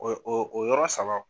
O o o yɔrɔ saba